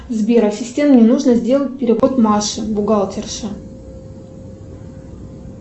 сбер ассистент мне нужно сделать перевод маше бухгалтерше